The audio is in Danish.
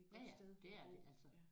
Ja ja det er det altså